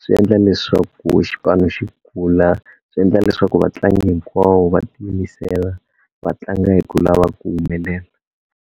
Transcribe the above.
swi endla leswaku xipano xi kula, swi endla leswaku vatlangi hinkwawo va tiyimisela va tlanga hi ku lava ku humelela.